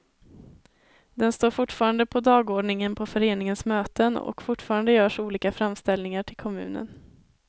Den står fortfarande på dagordningen på föreningens möten, och fortfarande görs olika framställningar till kommunen.